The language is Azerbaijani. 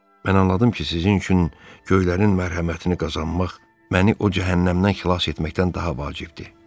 Mən anladım ki, sizin üçün göylərin mərhəmətini qazanmaq məni o cəhənnəmdən xilas etməkdən daha vacibdir.